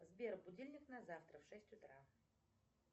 сбер будильник на завтра в шесть утра